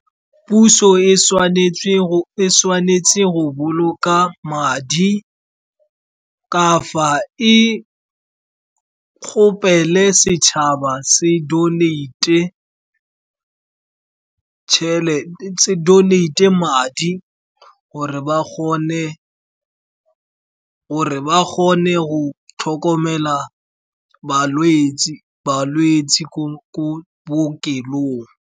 Puso e tshwanetse go boloka madi, kafa e kgopele setšhaba se donate madi, gore ba kgone go tlhokomela balwetse ko bookelong.